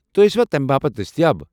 تُہۍ ٲسِوا تمہِ باپت دستیاب ؟